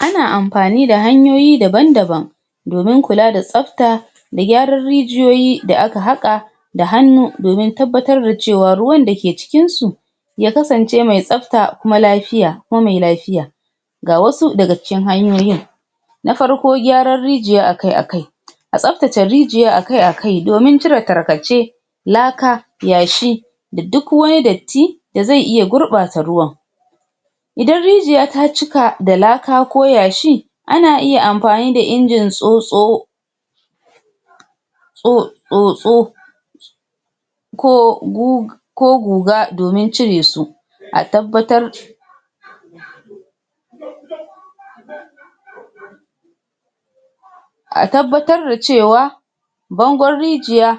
Ana amfani da hanyoyi daban daban domin kula da tsafta da gyaran rijiyoyi da aka haƙa da hannu domin tabbatar da cewa ruwan da ke cikinsu ya kasance mai tsafta kuma lafiya kuma mai lafiya, ga wasu daga cikin hanyoyin: Na farko gyaran rijiya akai akai a tsaftace rijiya akai akai domin cire tarkace, laka, yashi, da duk wani datti da zai iya gurɓata ruwan, idan rijiya ta cika da laka ko yashi ana iya amfani da injin tsotso tso tsotso ko gug ko guga domin cire su, a tabbatar a tabbatar da cewa bangon rijiya